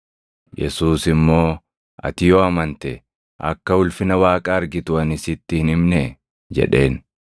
Yesuus immoo, “Ati yoo amante akka ulfina Waaqaa argitu ani sitti hin himnee?” jedheen.